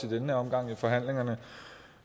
i den her omgang i forhandlingerne